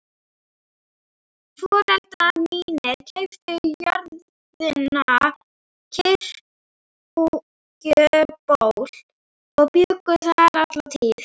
Foreldrar mínir keyptu jörðina Kirkjuból og bjuggu þar alla tíð.